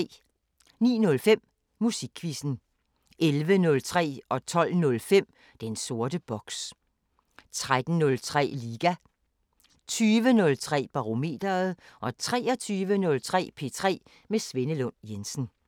09:05: Musikquizzen 11:03: Den sorte boks 12:05: Den sorte boks 13:03: Liga 20:03: Barometeret 23:03: P3 med Svenne Lund Jensen